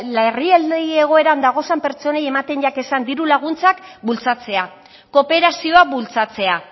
larrialdi egoeran dagozan pertsonei ematen jakezan diru laguntzak bultzatzea kooperazioa bultzatzea